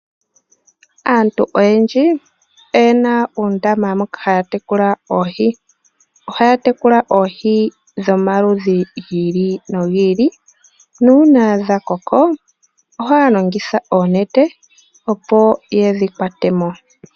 Aantu oyendji oye na uundama moka haya tekula oohi. Ohaya tekula oohi dhomaludhi gi ili nogi ili nuuna dha koko ohaa longitha oonete, opo ye dhi kwate mo.